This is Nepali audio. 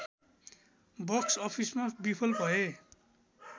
बक्स अफिसमा विफल भए